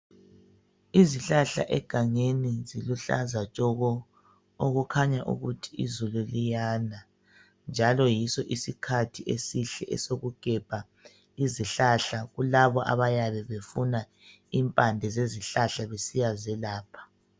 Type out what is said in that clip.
Izihlahla egangeni ziluhlaza tshoko! Okukhanya ukuthi izulu liyana, njalo yiso isikhathi esihle esokugebha izihlahla. Kulabo abayabe befuna impande zezihlahla, besiyazelapha.